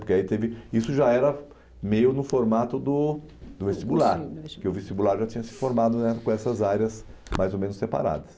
Porque aí teve... Isso já era meio no formato do do vestibular, porque o vestibular já tinha se formado com essas áreas mais ou menos separadas.